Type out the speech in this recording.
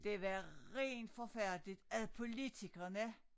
Det var rent forfærdeligt at politikerne